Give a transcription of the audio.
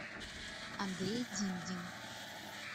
андрей димдин